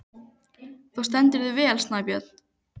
Þú stendur þig vel, Snæbjörn!